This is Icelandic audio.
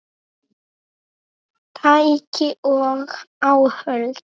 Tæki og áhöld